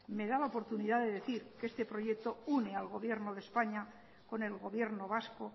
me da la oportunidad de decir que este proyecto une al gobierno de españa con el gobierno vasco